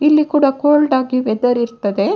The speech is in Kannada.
ಇಲ್ಲಿ ಕೂಡಾ ಕೋಲ್ಡ್‌ ಆಗಿ ವೆದರ್‌ ಇರ್ತದೆ.